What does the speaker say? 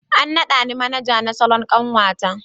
An nada ni Manaja na Salon kanwata.